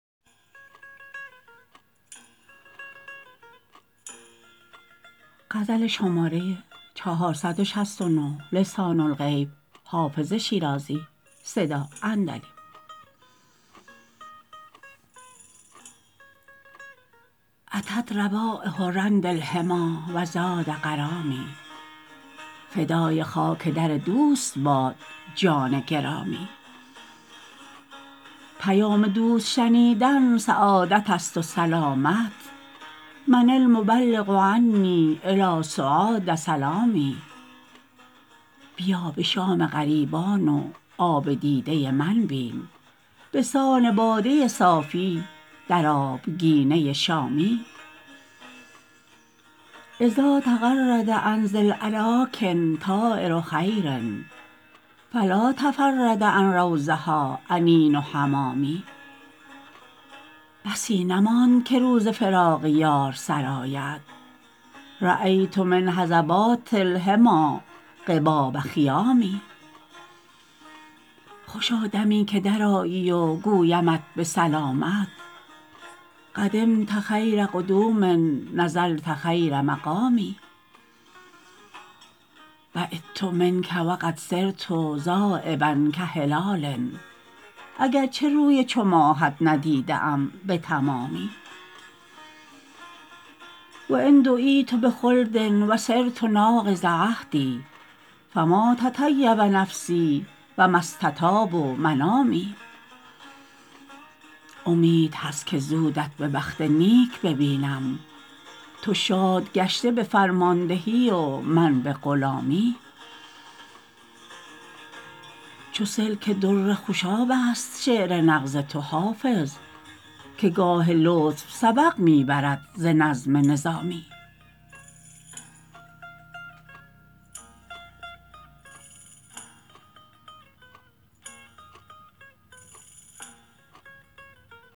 أتت روایح رند الحمیٰ و زاد غرامی فدای خاک در دوست باد جان گرامی پیام دوست شنیدن سعادت است و سلامت من المبلغ عنی إلی سعاد سلامی بیا به شام غریبان و آب دیده من بین به سان باده صافی در آبگینه شامی إذا تغرد عن ذی الأراک طایر خیر فلا تفرد عن روضها أنین حمامي بسی نماند که روز فراق یار سر آید رأیت من هضبات الحمیٰ قباب خیام خوشا دمی که درآیی و گویمت به سلامت قدمت خیر قدوم نزلت خیر مقام بعدت منک و قد صرت ذایبا کهلال اگر چه روی چو ماهت ندیده ام به تمامی و إن دعیت بخلد و صرت ناقض عهد فما تطیب نفسی و ما استطاب منامی امید هست که زودت به بخت نیک ببینم تو شاد گشته به فرماندهی و من به غلامی چو سلک در خوشاب است شعر نغز تو حافظ که گاه لطف سبق می برد ز نظم نظامی